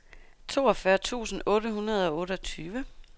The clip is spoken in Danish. toogfyrre tusind otte hundrede og otteogtyve